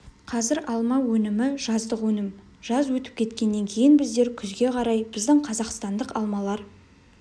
қазір алма өнімі жаздық өнім жаз өтіп кеткеннен кейін біздер күзге қарай біздің қазақстандық алмалар